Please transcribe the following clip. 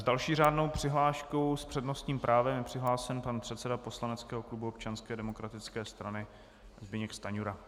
S další řádnou přihláškou s přednostním právem je přihlášen pan předseda poslaneckého klubu Občanské demokratické strany Zbyněk Stanjura.